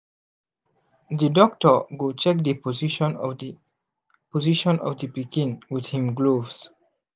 the doctor go check the position of the position of the pikin with him gloves